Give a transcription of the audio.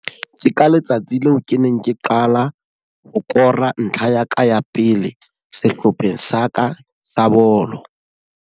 Ke ka letsatsi leo ke neng ke qala ho kora ntlha ya ka ya pele sehlopheng sa ka sa bolo.